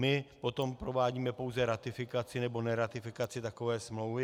My potom provádíme pouze ratifikaci nebo neratifikaci takové smlouvy.